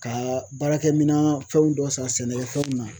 Ka baarakɛminan fɛn dɔw san sɛnɛkɛfɛnw